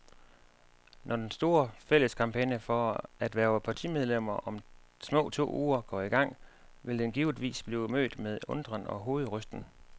Når den store, fælles kampagne for at hverve partimedlemmer om små to uger går i gang, vil den givetvis blive mødt med undren og hovedrysten.